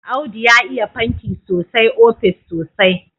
Audu ya iya fanti sosai ofis sosai.